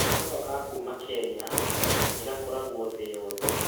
Kahua ga kuuma Kenya nĩ gakũragwo thĩ yothe.